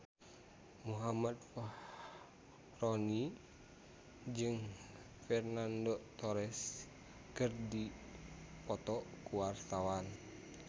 Muhammad Fachroni jeung Fernando Torres keur dipoto ku wartawan